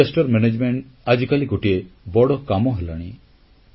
ବିପର୍ଯ୍ୟୟ ପରିଚାଳନା ଆଜିକାଲି ଗୋଟିଏ ବଡ଼ କାମ ହେଲାଣି